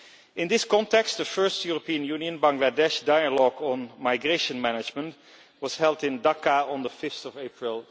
In this context, the first European Union Bangladesh dialogue on migration management was held in Dhaka on 5 April